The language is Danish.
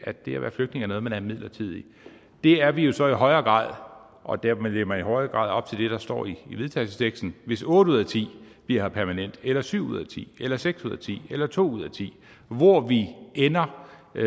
at det at være flygtning er noget man er midlertidigt det er vi jo så i højere grad og dermed lever man i højere grad op til det der står i vedtagelsesteksten hvis otte ud af ti bliver her permanent eller syv ud af ti eller seks ud af ti eller to ud af ti hvor vi ender med